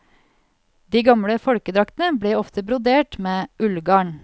De gamle folkedraktene ble ofte brodert med ullgarn.